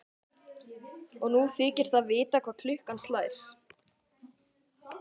Og nú þykist það vita hvað klukkan slær.